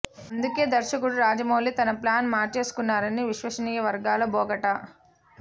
అందుకే దర్శకుడు రాజమౌళి తన ప్లాన్ మార్చేసుకున్నారని విశ్వసనీయ వర్గాల బోగట్టా